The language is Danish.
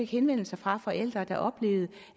henvendelser fra forældre der oplevede